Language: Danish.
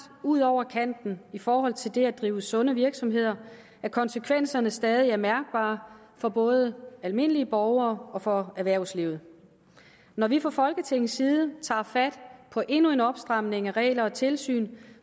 ud over kanten i forhold til det at drive sunde virksomheder at konsekvenserne stadig er mærkbare for både almindelige borgere og for erhvervslivet når vi fra folketingets side tager fat på endnu en opstramning af regler og tilsyn